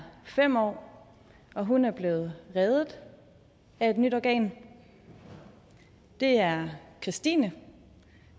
fem år og hun er blevet reddet af et nyt organ det er kristine